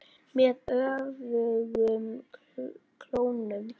Með öfugum klónum.